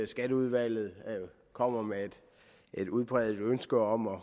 skatteudvalget kommer med et udpræget ønske om at